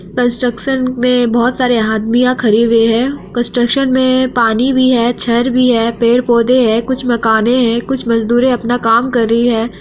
Construction में बहुत सारे आदमियां खड़े हुए है कंस्ट्रक्शन में पानी भी है छर भी है पेड़-पौधे है कुछ मकाने है कुछ मजदूरे अपना काम कर रही है।